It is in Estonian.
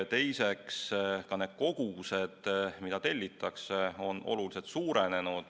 Teiseks, ka need kogused, mida tellitakse, on oluliselt suurenenud.